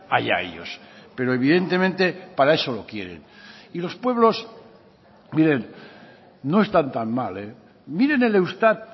allá ellos pero evidentemente para eso lo quieren y los pueblos miren no están tan mal miren el eustat